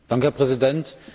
Herr Präsident!